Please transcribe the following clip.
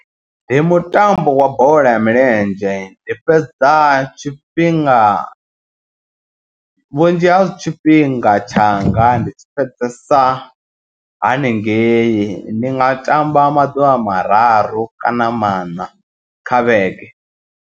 Ndi mutambo wa bola ya milenzhe ndi fhedza tshifhinga vhunzhi ha tshifhinga tshanga. Ndi tshi fhedzesa haningei ndi nga tamba maḓuvha mararu kana maṋa kha vhege.